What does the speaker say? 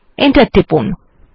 enter টিপুন